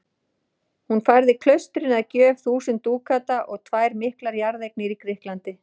Hún færði klaustrinu að gjöf þúsund dúkata og tvær miklar jarðeignir í Grikklandi.